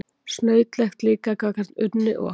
Snautlegt líka gagnvart Unni og